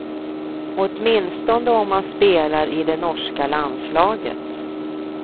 Åtminstone om man spelar i det norska landslaget.